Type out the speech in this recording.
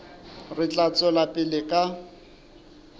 re tla tswela pele ka